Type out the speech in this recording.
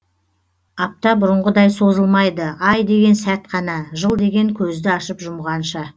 апта бұрынғыдай созылмайды ай деген сәт қана жыл деген көзді ашып жұмғанша